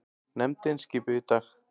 Nefndin skipuð í dag